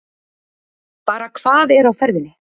Bara hvað er á ferðinni?